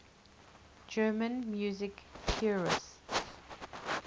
german music theorists